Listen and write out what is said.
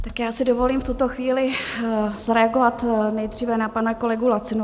Tak já si dovolím v tuto chvíli zareagovat nejdříve na pana kolegu Lacinu.